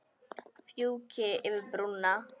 Fjúki yfir brúna.